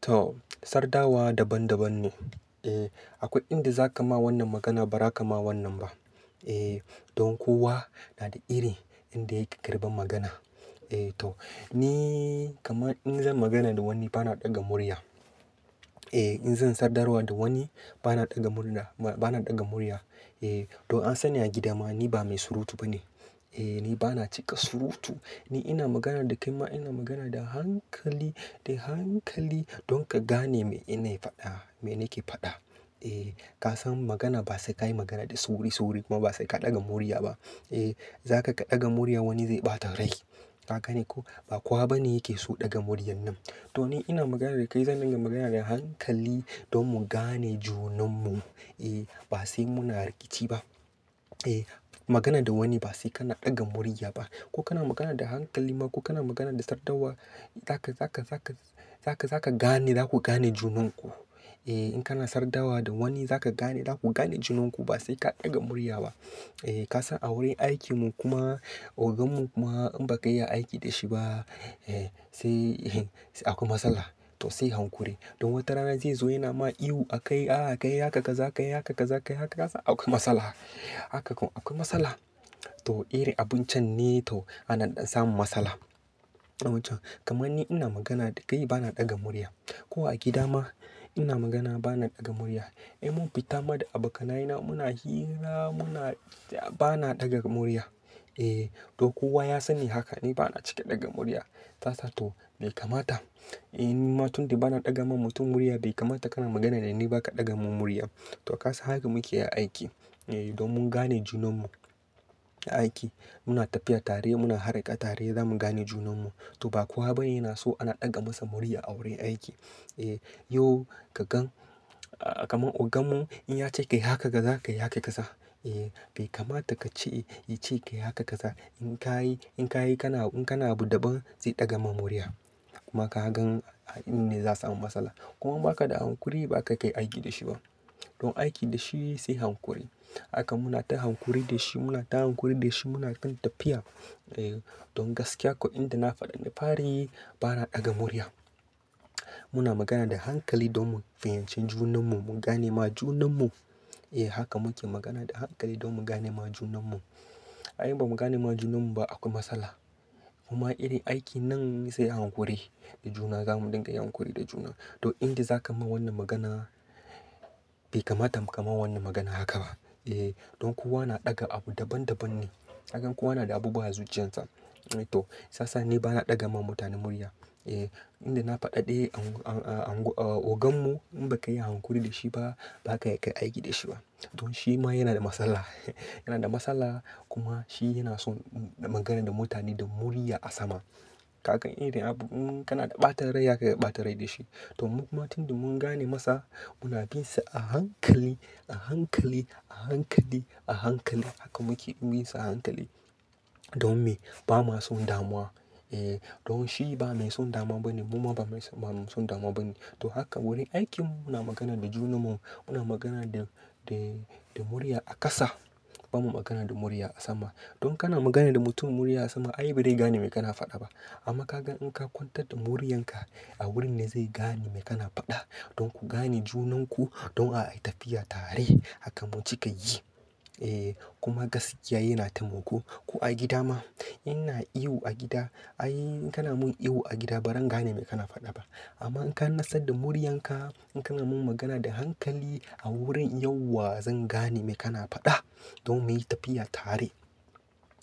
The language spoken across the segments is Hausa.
To, sardawa daban-daban ne. Eh, akwai inda za ka ma wannan magana ba za ka ma wannan ba. Eh, don kowa na da iri inda yake karɓan magana. Eh to, ni kaman in zan magana da wani bana ɗaga murya. Eh, in zan sadarwa da wani bana ɗaga murda, ba, bana ɗaga murya. Eh, don an sani a gida ma ni ba mai surutu ba ne. E, ni bana cika surutu. In ina magana da kai ma ina magana da hankali, da hankali, don ka gane me ina faɗa, me nake faɗa. Eh, ka san magana ba sai ka yi magana da sauri-sauri, kuma ba sai ka ɗaga murya ba. Eh, zaka ka ɗaga muryan wani zai ɓata rai. Ka gane ko, ba kowa ba ne yake so ɗaga muryar nan. To ni ina magana da kai zan dinga magana da hankali, don mu gane junan mu. E, ba sai muna rikici ba. E, magana da wani ba sai kana ɗaga murya ba. Ko kana magana da hankali ma ko kana magana da sardawa, zaka, zaka, zaka, zaka, zaka gane za ku gane junan ku. E, in kana sadawa da wani zaka gane za ku gane junan ku ba sai ka ɗaga murya ba. Eh, ka san a wurin aikin mu kuma, ogan mu kuma in ba ka iya aiki da shi ba, e, sai, akwai matsala. To sai hankuri. Don wata rana zai zo yana ma ihu a kai, "Ah ka yi haka kaza, aka yi haka ka kaza, aka yi haka." Ka san akwai matsala. Haka ko akwai matsala. To iri abun can ne to, anan ɗan samun matsala. A wajen. Kaman ni ina magana da kai bana ɗaga murya. Ko a gida ma ina magana bana ɗaga murya. E mun fita ma da abokanaye na muna hira muna, ba na ɗaga murya. Eh, don kowa ya sani haka. Ni bana cika ɗaga murya. Sasa to bai kamata, in, ni ma tun da bana ɗaga ma mutum murya bai kamata kana magana da ni ba ka ɗaga min murya. To ka san haka muke aiki. Eh, don mun gane junan mu, a aiki. Muna tafiya tare muna harƙa tare za mu gane junan mu. To ba kowa ba ne yana so ana ɗaga masa murya a wurin aiki. Eh, yau ka gan, ah kaman ogan mu in ya ce ka yi haka ka kaza, ka yi haka ka kaza. Eh, bai kamata ka ce, yi ce ka yi haka ka kaza. In ka yi, in ka yi kana, in kana abu daban zai ɗaga ma murya. Kuma ka gan, a ine za'a samu matsala. Kuma ba ka da hankuri ba ka kai aiki da shi ba. Don aiki da shi sai hankuri. Haka muna ta hankuri da shi muna ta hankuri da shi muna kan tafiya. Eh, don gaskiya ko inda na faɗi na fari bana ɗaga murya. Muna magana da hankali don mu fahimci junan mu, mu ganema junan mu. E, haka muke magana da hankali don mu ganema junan mu. Ai ba mu ganema junan mu ba akwai matsala. Kuma iri aiki nan sai hankuri, da juna za mu dinga yin hankuri da juna. To inda za ka ma wannan magana, bai kamata mu ka ma wannan magana haka ba. E, don kowa na ɗaga abu daban daban ne. Kagan kowa na da abubuwa a zuciyarsa. To, saisa ni bana ɗaga ma mutane murya. Eh, inda na faɗa ɗe an, an, a, a, ogan mu in ba ka yi hankuri da shi ba ba ka kai aiki da shi ba. Don shi ma yana da matsala. Yana da matsala, kuma shi yana son magana da mutane da murya a sama. Kaga irin abu in kana da ɓata rai, zaka iya ɓata rai da shi. To mu kuma tun da mun gane masa muna bin sa a hankali, a hankali, a hankali, a hankali. Haka muke bin sa a hankali. Don me? Ba ma son damuwa. Eh, don shi ba mai son damuwa ba ne muma ba mai son damuwa ba ne. To haka wurin aikin mu, muna magana da junan mu muna magana da, da, da murya a ƙasa. Ba mu magana da murya a sama. Don kana magana da mutum murya a sama ai baraii gane me kana faɗa ba. Amma ka gan in ka kwantar da muryan ka, a wurin ne zai gane me kana faɗa. Don ku gane junan ku, don a yi tafiya tare, haka mu cika yi. E, kuma gaskiya yana ta muko. Ko a gida ma in ina ihu a gida, ai in kana mun ihu a gida ba ran gane me kana faɗa ba. Amma in ka natsar da muryan ka, in kana mun magana da hankali, a wurin yauwa zan gane me kana faɗa. Don mu yi tafiya tare.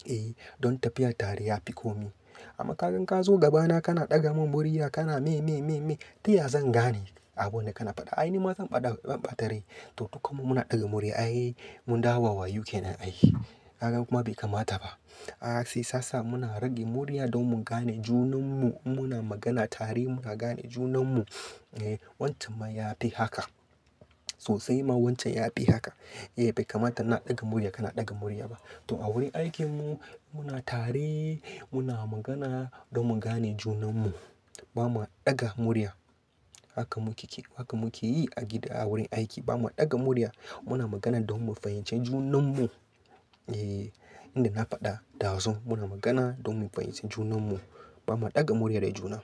Eh, don tafiya tare ya fi ko mi. Amma ka gan ka zo gabana kana ɗaga mun murya kana "Me, me, me, me" ta ya zan gane abun da kana faɗa? Ai ni ma zan ɓata rai. To dukanmu muna ɗaga murya ai, mun dawo wawayu ke nan ai. Kagan kuma bai kamata ba. A sai sasa muna rage murya don mu gane junan mu, in muna magana tare muna gane junan mu. Eh, wancan ma ya fi haka. Sosai ma wancan ya fi haka. Eh, bai kamata ina ɗaga murya kana ɗaga murya ba. To a wurin aikin mu muna tare muna magana don mu gane junan mu. Ba ma ɗaga murya. Haka muke, haka muke yi a gida a wurin aiki ba ma ɗaga murya. Muna magana don mu fahimci junan mu. Eh, inda na faɗa ɗazu muna magana don mu fahimci junan mu. Ba mu ɗaga murya da juna.